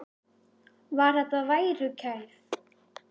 Var þetta værukærð?